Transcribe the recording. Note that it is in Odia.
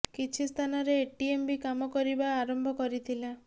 କିଛି ସ୍ଥାନରେ ଏଟିଏମ ବି କାମ କରିବା ଆରମ୍ଭ କରିଥିଲା